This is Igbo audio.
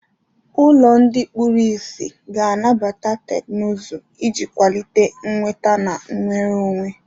Ụlọ ndị kpuru ìsì ga-anabata teknụzụ iji kwalite nnweta na nnwere onwe.